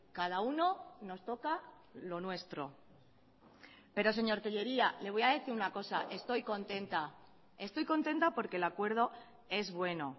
cada uno nos toca lo nuestro pero señor tellería le voy a decir una cosa estoy contenta estoy contenta porque el acuerdo es bueno